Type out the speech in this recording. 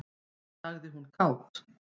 sagði hún kát.